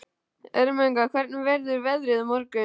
Ermenga, hvernig verður veðrið á morgun?